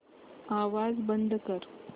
आवाज बंद कर